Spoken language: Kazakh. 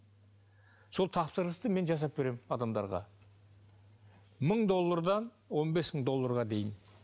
сол тапсырысты мен жасап беремін адамдарға мың доллардан он бес мың долларға дейін